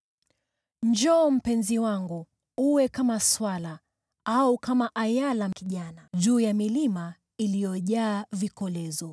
Njoo, mpenzi wangu, uwe kama swala au kama ayala kijana juu ya milima iliyojaa vikolezo.